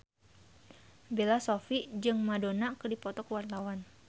Bella Shofie jeung Madonna keur dipoto ku wartawan